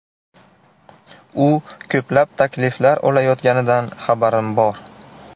U ko‘plab takliflar olayotganidan xabarim bor.